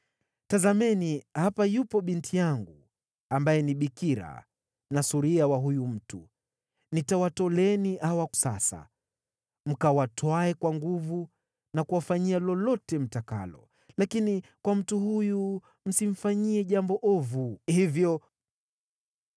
Tazameni, hapa yupo binti yangu ambaye ni bikira na suria wa huyu mtu. Nitawatoleeni hawa sasa, mkawatwae kwa nguvu na kuwafanyia lolote mtakalo. Lakini kwa mtu huyu msimfanyie jambo ovu hivyo.”